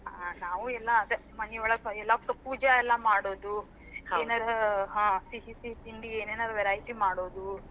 ಹಾ, ನಾವೂ ಎಲ್ಲಾ ಅದ ಮನಿ ಒಳಗ್ ಸ ಪೂಜೆ ಎಲ್ಲಾ ಮಾಡೋದು, ಸಿಹಿ ತಿಂಡಿ, ಏನಾದ್ರ variety ಮಾಡೋದು.